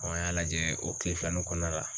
an y'a lajɛ o kile filanin kɔɔna la